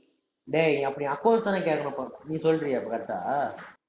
டேய், அப்ப நீ accounts தானே கேக்கற நீ சொல்றீயா அப்ப correct ஆ